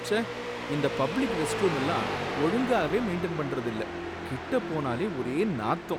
ச்சே! இந்த பப்ளிக் ரெஸ்ட்ரூமெல்லாம் ஒழுங்காவே மெயின்டெய்ன் பண்றதில்ல, கிட்ட போனாலே ஒரே நாத்தம்.